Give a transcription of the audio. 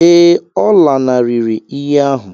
Ee, ọ lanarịrị iyi ahụ.